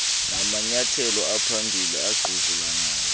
namanyathelo aphambili angquzulanayo